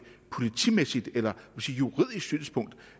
politimæssigt eller juridisk synspunkt